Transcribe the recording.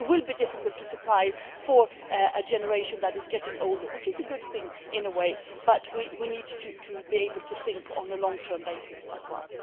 it will be difficult to supply for a generation that is getting older, which is a good thing in a way, but we need to be able to think on a long term basis as well.